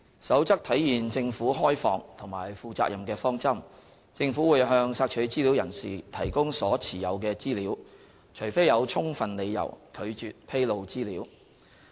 《守則》體現政府開放和負責任的方針，政府會向索取資料人士提供所持有的資料，除非有充分理由拒絕披露資料。